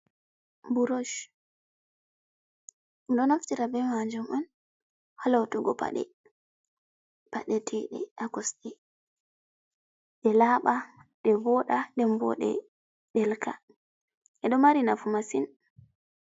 Burosh. Ɓe ɗo naftira be maajum on ha lutugo paɗe, paɗeteeɗe ha kosɗe, ɗe laaɓa ɗe vooɗa nden bo ɗe ɗelka. Ɗe ɗo mari nafu masin.